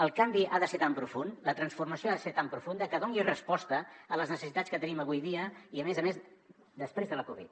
el canvi ha de ser tan profund la transformació ha de ser tan profunda que doni resposta a les necessitats que tenim avui dia i a més a més després de la covid